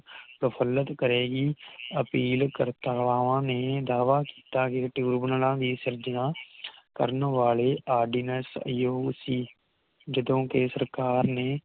ਤਸਲਤ ਕਰੇਗੀ ਅਪੀਲ ਕਰਤਾਵਾ ਨੇ ਦਾਵਾ ਕੀਤਾ ਕੇ ਟਿਊਰਬਨਲਾ ਦੀ ਸੰਰਚਨਾ ਕਰਨ ਵਾਲੇ ਆਰ ਡੀ ਨੇਸ ਯੂ ਸੀ ਜਦੋ ਕੇ ਸਰਕਾਰ ਨੇ